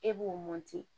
E b'o